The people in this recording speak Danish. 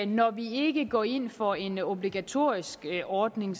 når vi ikke går ind for en obligatorisk ordning